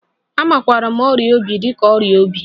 A makwaara ọrịa obi dị ka ọrịa obi.